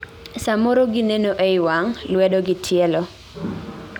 samoro, gineno ei wang' , lwedo gi tielo